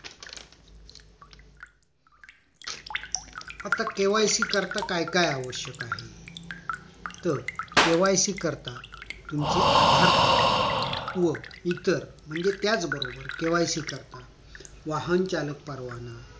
आता KYC करीता काय काय आवश्यक आहे तर KYC करीता तुमचे आधार कार्ड व इतर म्हणजे त्याच बरोबर KYC करीता वाहन चालक परवाना